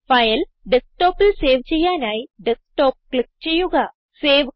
file ഡെസ്ക്ടോപ്പിൽ save ചെയ്യാനായി desktop click ചെയ്യുക